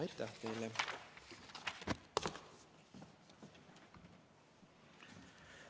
Aitäh teile!